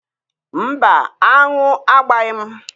Mba, aṅụ agbaghi m.